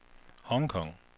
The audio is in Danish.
Hong Kong